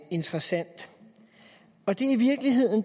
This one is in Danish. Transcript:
interessant